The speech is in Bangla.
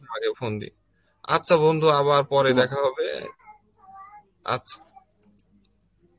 আগে phone দি. আচ্ছা বন্ধু আবার পরে হবে, আচ্ছা.